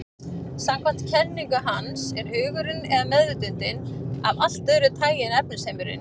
Samkvæmt kenningu hans er hugurinn, eða meðvitundin, af allt öðru tagi en efnisheimurinn.